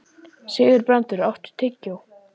Sigurbrandur, áttu tyggjó?